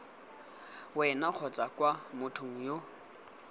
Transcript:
wena kgotsa kwa mothong yo